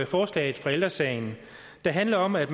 forslaget fra ældre sagen der handler om at